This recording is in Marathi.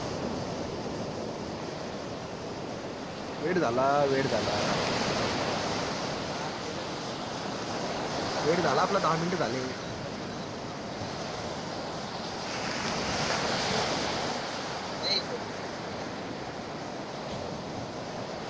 late झाला late झाला late झाला आपला दहा मिनिटं झाले